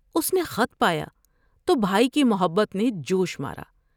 اس نے خط پایا تو بھائی کی محبت نے جوش مارا ۔